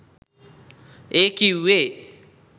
ඒ කිව්වේ